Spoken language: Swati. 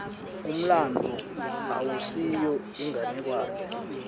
umlandvo awusiyo inganekwane